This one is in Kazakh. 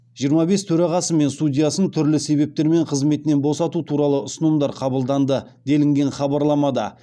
жиырма бес төрағасы мен судьясын түрлі себептермен қызметінен босату туралы ұсынымдар қабылданды делінген хабарламада